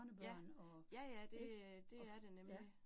Ja, ja ja, det er det nemlig